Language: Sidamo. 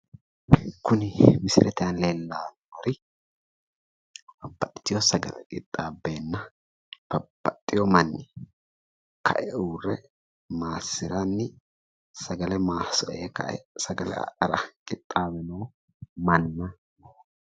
Kuni misilete aana leellannori babbaxitewo sagale qixxaabbeenna babbaxewo manni kae uurre maassiranni sagale maassire kae sagale adhara qixxaawe kae noo manna.